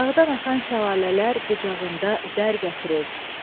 Dağdan axan şəlalələr qucağında zər gətirir.